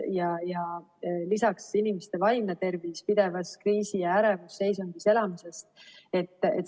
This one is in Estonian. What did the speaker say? Ja lisaks inimeste vaimne tervis pidevas kriisi- ja ärevusseisundis elamisest.